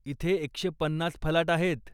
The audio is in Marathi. इथे एकशे पन्नास फलाट आहेत.